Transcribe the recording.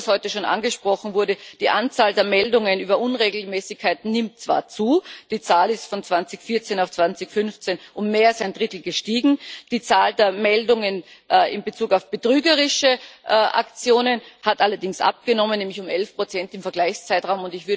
Und was heute schon angesprochen wurde Die Anzahl der Meldungen über Unregelmäßigkeiten nimmt zwar zu die Zahl ist von 2014 auf 2015 und mehr als ein Drittel gestiegen die Zahl der Meldungen in Bezug auf betrügerische Aktionen hat allerdings abgenommen, nämlich um 11 im Vergleichszeitraum.